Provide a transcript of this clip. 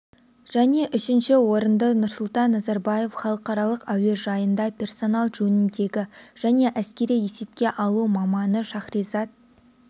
және үшінші орынды нұрсұлтан назарбаев халықаралық әуежайында персонал жөніндегі және әскери есепке алу маманы шахризат